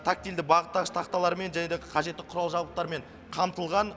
тактильді бағыттағыш тақталармен және де қажетті құрал жабдықтармен қамтылған